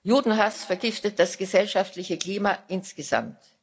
Judenhass vergiftet das gesellschaftliche Klima insgesamt.